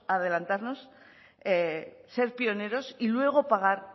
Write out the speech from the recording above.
adelantarnos ser pioneros y luego pagar